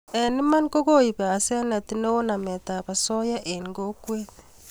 eng iman ko kokoib hasenet neo namet ab asoya eng kokwet